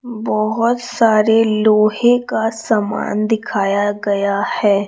बहोत सारे लोहे का सामान दिखाया गया है।